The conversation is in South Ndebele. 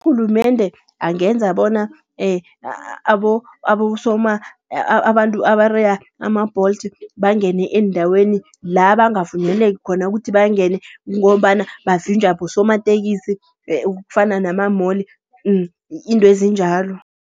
Urhulumende angenza bona abantu abareya ama-Bolt, bangene eendaweni la bangavunyeleki khona ukuthi bangene. Kungombana bavinjwa bosomatekisi kufana nama-mall intwezinjalo.